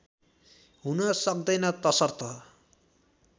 हुन सक्दैन तसर्थ